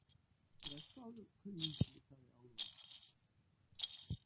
Blessaður, kunningi, sagði Álfur.